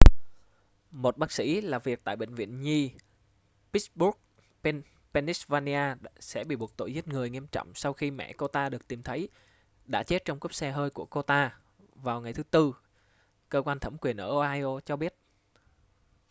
một bác sĩ làm việc tại bệnh viện nhi pittsburgh pennsylvania sẽ bị buộc tội giết người nghiêm trọng sau khi mẹ cô ta được tìm thấy đã chết trong cốp xe hơi của cô ta vào ngày thứ tư cơ quan thẩm quyền ở ohio cho biết